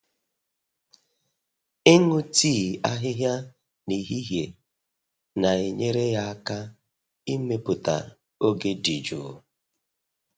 Ịṅụ tii ahịhịa n'ehihie na-enyere ya aka ịmepụta oge dị jụụ.